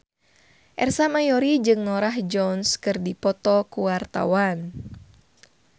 Ersa Mayori jeung Norah Jones keur dipoto ku wartawan